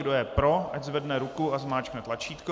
Kdo je pro, ať zvedne ruku a zmáčkne tlačítko.